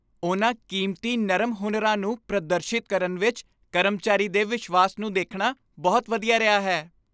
ਉਹਨਾਂ ਕੀਮਤੀ ਨਰਮ ਹੁਨਰਾਂ ਨੂੰ ਪ੍ਰਦਰਸ਼ਿਤ ਕਰਨ ਵਿੱਚ ਕਰਮਚਾਰੀ ਦੇ ਵਿਸ਼ਵਾਸ ਨੂੰ ਦੇਖਣਾ ਬਹੁਤ ਵਧੀਆ ਰਿਹਾ ਹੈ।